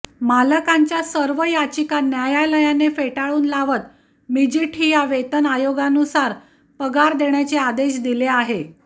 मालकांच्या सर्व याचिका न्यायालयाने फेटाळून लावत मजिठिया वेतन आयोगानुसार पगार देण्याचे आदेश दिले आहे